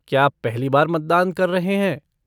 क्या आप पहली बार मतदान कर रहे हैं?